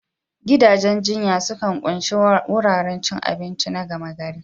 Gidajen jinya sukan ƙunshi wuraren cin abinci na gama gari.